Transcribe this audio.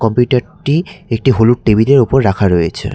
বিটারটি একটি হলুদ টেবিলের উপর রাখা রয়েছে।